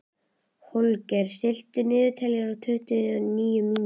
Holger, stilltu niðurteljara á tuttugu og níu mínútur.